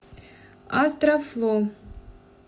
астрафло